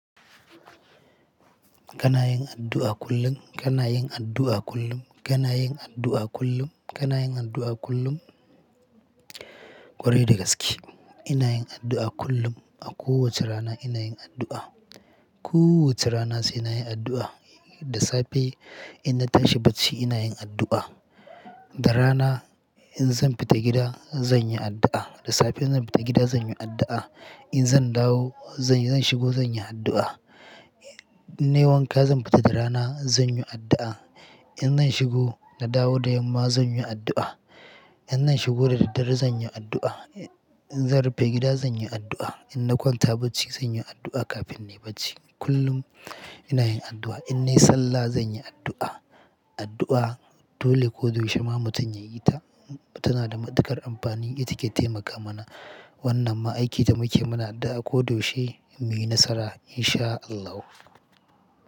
Kana yin addu'a kullum? Kana yin addu'a kullum? Kana yin addu'a kullum? Kana yin addu'a kullum? Kwarai da gaske ina yin addu'a kullum. A kowace rana ina yin addu'a. Kowace rana sai na yi addu'a. Da safe in na tashi bacci ina yin addu'a. Da rana in zan fita gida zan yi addu'a. Da safe in zan fita gida zan yi addu'a. In zan dawo, zan shigo zan yi addu'a. In na yi wanka zan fita da rana zan yi addu'a. In zan shigo na dawo da yamma zan yi addu'a. In zan shigo da daddare zan yi addu'a. In zan rufe gida zan yi addu'a. In na kwanta bacci zan yi addu'a kafin na yi bacci. Kullum ina yin addu'a. In na yi sallah zan yi addu'a. Addu'a dole ko da yaushe ma mutum ya yi ta. Tana da matuƙar amfani. Ita ke taimaka mana. Wannan ma aikin da muke mu na addu'a ko da yaushe muyi nasara In Shaa Allahu.